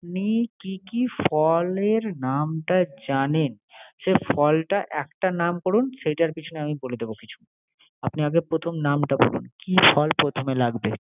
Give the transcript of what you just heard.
আপনি কি কি ফলের নামটা জানেন? সে ফলটা একটা নাম করুন। সেইটার পিছনে আমি বলে দিব কিছু। আপনি আগে প্রথম নামটা বলুন। কি ফল প্রথমে লাগবে